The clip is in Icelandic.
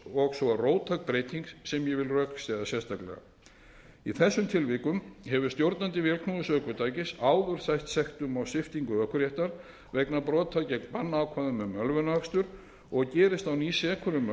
og svo róttæk breyting sem ég vil rökstyðja sérstaklega í þeim tilvikum hefur stjórnandi vélknúins ökutækis áður sætt sektum og sviptingu ökuréttar vegna brota gegn bannákvæðum um ölvunarakstur og gerist á ný sekur um